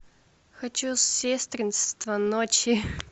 хочу сестринство ночи